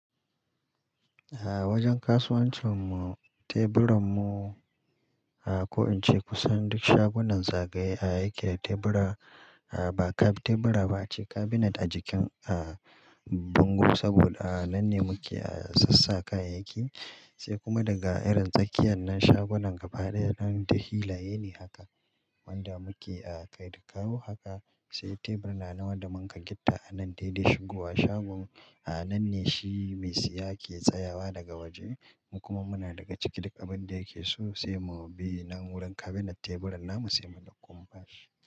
A wajen kasuwancin mu teburan mu, a ko in ce kusan duk shagunan zagaye ake tebura, a ba ka tebura ba ace cabinet a jikin, a bango saboda a nan ne muke, a sassaka kayayyaki. Sai kuma daga irin tsakiyar nan shagunan gaba ɗaya nan ta hilaye ne haka. Wanda muke a kai da kawo haka, sai tebur na nawa da man ka gitta anan dai dai shigowa shagon. A nan ne shi mai siya ke tsayawa daga waje kuma muna daga ciki duk abin da yake so sai mu bi nan wurin cabinet teburan nan mu sai mu ɗauka mu ba shi.